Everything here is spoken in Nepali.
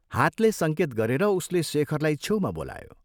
हातले संकेत गरेर उसले शेखरलाई छेउमा बोलायो।